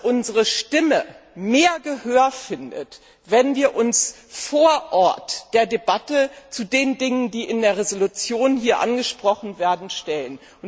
Unsere Stimme findet mehr Gehör, wenn wir uns vor Ort der Debatte zu den Dingen, die in der Entschließung hier angesprochen werden, stellen.